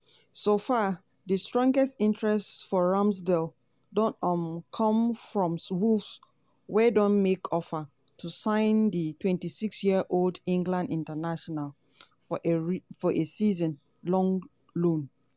so far di strongest interest for ramsdale don um come from wolves wey don make offer to sign di twenty six-year-old england international for a for a season-long loan.